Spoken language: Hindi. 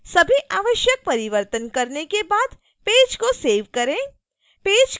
सभी आवश्यक परिवर्तन करने के बाद पेज को सेव करें